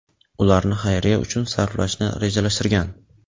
ularni xayriya uchun sarflashni rejalashtirgan.